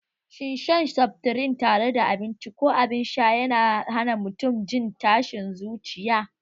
Shin shan seftrin tare da abinci ko abin sha yana hana mutum jin tashin zuciya?